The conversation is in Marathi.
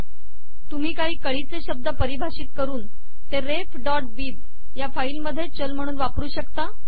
तुम्ही काही कळीचे शब्द पारिभाषित करून ते refबिब या फाईलमध्ये चल म्हणून वापरु शकता